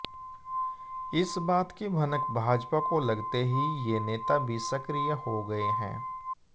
इस बात की भनक भाजपा को लगते ही ये नेता भी सक्रिय हो गए हैं